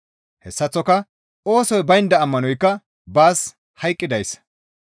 Hessaththoka oosoy baynda ammanoykka baas hayqqidayssa.